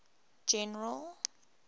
general